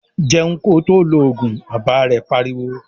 "Jẹun ko tó lọ Ògùn!",Bàbá rẹ̀ pariwo